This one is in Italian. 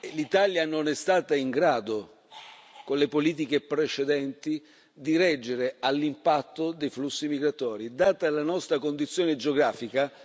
L'Italia non è stata in grado, con le politiche precedenti, di reggere all'impatto dei flussi migratori, data la nostra condizione geografica.